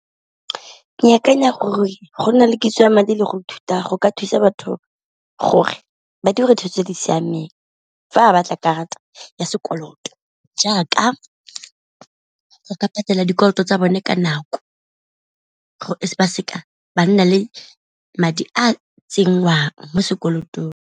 Ke akanya gore go na le kitso ya madi le go ithuta go ka thusa batho gore ba dire tse di siameng fa a batla karata ya sekoloto, jaaka go ka patela dikoloto tsa bone ka nako gore ba seka ba nna le madi a a tsenngwang mo sekolotong.